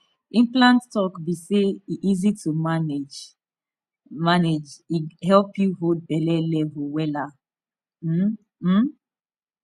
implant talk be say e easy to manage manage e help you hold belle level wella um um